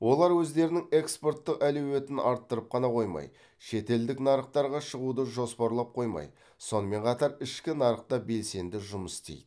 олар өздерінің экспортты әлеуетін арттырып қана қоймай шетелдік нарықтарға шығуды жоспарлап қоймай сонымен қатар ішкі нарықта белсенді жұмыс істейді